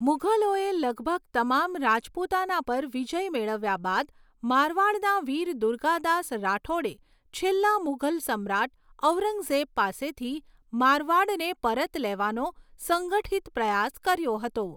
મુઘલોએ લગભગ તમામ રાજપૂતાના પર વિજય મેળવ્યા બાદ, મારવાડના વીર દુર્ગાદાસ રાઠોડે છેલ્લા મુઘલ સમ્રાટ ઔરંગઝેબ પાસેથી મારવાડને પરત લેવાનો સંગઠિત પ્રયાસ કર્યો હતો.